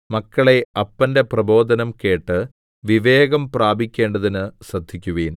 മക്കളേ അപ്പന്റെ പ്രബോധനം കേട്ട് വിവേകം പ്രാപിക്കേണ്ടതിന് ശ്രദ്ധിക്കുവിൻ